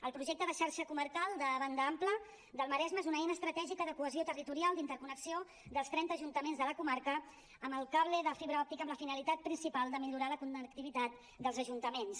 el projecte de xarxa comarcal de banda ampla del maresme és una eina estratègica de cohesió territorial d’interconnexió dels trenta ajuntaments de la comarca amb el cable de fibra òptica amb la finalitat principal de millorar la connectivitat dels ajuntaments